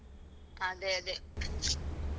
ಅದೇ ಅದೇ.